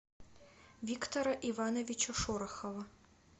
виктора ивановича шорохова